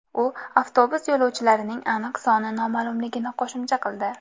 U avtobus yo‘lovchilarining aniq soni noma’lumligini qo‘shimcha qildi.